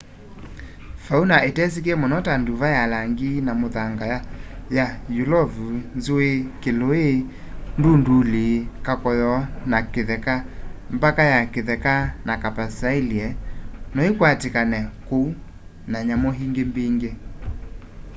fauna itesikie muno ta nduva ya langi wa muthanga ya yulovu nzui kilui ndunduli kakoyo ka kitheka mbaka ya kitheka na capercaillie noikwatikane kûu na nyamu ingi mbingi